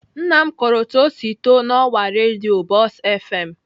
Nna m kọrọ otu o si too n'ọwa redio buzz fm.